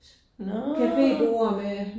Nåh